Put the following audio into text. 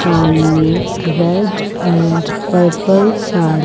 सामने red and purple sari--